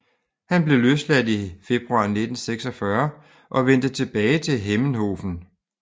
Han blev løsladt i februar 1946 og vendte tilbage til Hemmenhofen